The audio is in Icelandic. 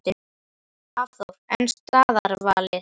Hafþór: En staðarvalið?